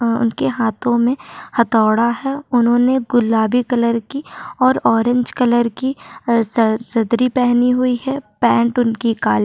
आम्म उन के हाथों में हथोड़ा है उन्होंने गुलाबी कलर की और ऑरेंज कलर की अ सर सदरी पहनी हुई है पैंट उनकी काली --